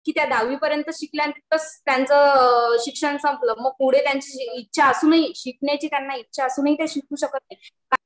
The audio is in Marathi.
कि त्या दहावी पर्यंत शिकल्या आणि तिथंच त्यांचं शिक्षण संपलं पण पुढे त्यांची इच्छा असूनही, शिकण्याची उच्च असूनही त्या शिकू शकत नाहीत